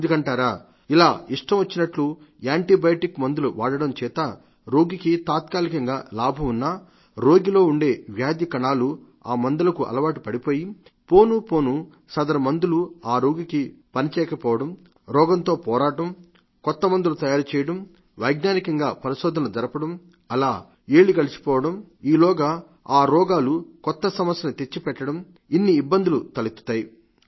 ఎందుకంటారా ఇలా ఇష్టం వచ్చినట్లు యాంటీబయాటిక్ మందులు వాడటం చేత రోగికి తాత్కాలికంగా లాభం ఉన్నా రోగిలో ఉండే వ్యాధికణాలు ఆ మందులకు అలవాటు పడిపోయి పోనుపోను సదరు మందులు ఆ రోగికి పనిచేయకపోవడం రోగంతో పోరాటం కొత్తమందులు తయారు చేయడం వైజ్ఞానికంగా పరిశోధనలు జరపడం అలా ఏళ్లు గడిచిపోవడం ఆలోగా ఆ రోగాలు కొత్త సమస్యల్ని చెత్తిపెట్టడం ఇన్ని ఇబ్బందులు తలెత్తుతాయి